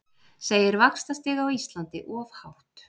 Segir vaxtastig á Íslandi of hátt